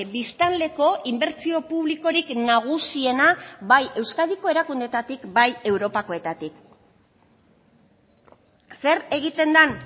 biztanleko inbertsio publikorik nagusiena bai euskadiko erakundeetatik bai europakoetatik zer egiten den